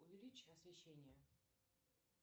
увеличь освещение